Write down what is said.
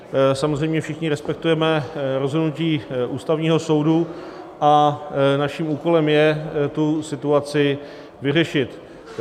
Samozřejmě všichni respektujeme rozhodnutí Ústavního soudu a naším úkolem je tu situaci vyřešit.